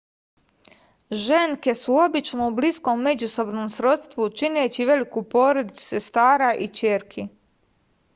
ženke su obično u bliskom međusobnom srodstvu čineći veliku porodicu sestara i ćerki